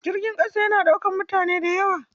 Jirgin ƙasa yana ɗaukar mutane da yawa.